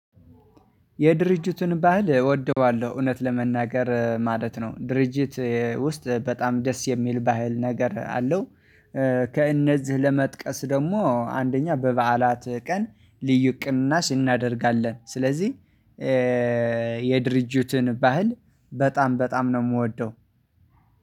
የድርጅቱን ባህል እወደዋለሁ እውነት ለመናገር ማለት ነው ድርጅት ውስጥ በጣም ደስ የሚል ባህል ነገር አለው። ከእነዚህ ለመጥቀስ ደግሞ አንደኛ በበዓላት ቀን ልዩ ቅናሽ ስናደርጋለን። ስለዚህ የድርጅቱን ባህል በጣም በጣም ነው የምወደው።